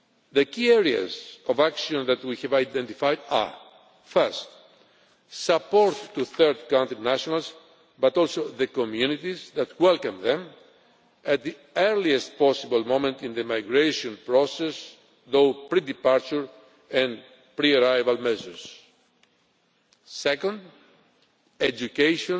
The key areas of action that we have identified are Firstly, support to third country nationals, but also the communities that welcome them at the earliest possible moment in the migration process through pre departure and pre arrival measures. Secondly,